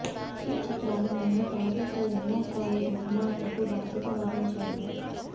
ఈ చిత్రాలు మేము ప్రాజెక్ట్ ఎమ్మా ఫ్రాయిడ్ నిర్మాతకు బాధ్యత వహించాము